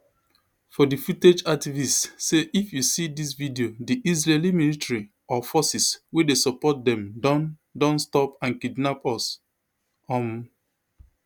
for di footage activists say if you see dis video di israeli military or forces wey dey support dem don don stop and kidnap us um